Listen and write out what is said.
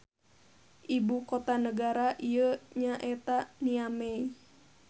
Ibu kota nagara ieu nya eta Niamey.